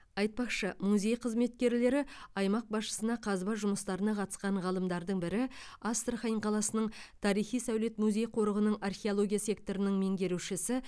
айтпақшы музей қызметкерлері аймақ басшысына қазба жұмыстарына қатысқан ғалымдардың бірі астрахан қаласының тарихи сәулет музей қорығының археология секторының меңгерушісі